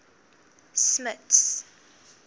smuts